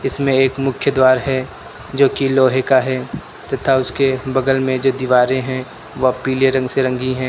इसमे एक मुख्य द्वार है जोकि लोहे का है तथा उसके बगल में जो दीवारें हैं वह पीले रंग से रंगी है।